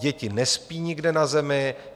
Děti nespí nikde na zemi.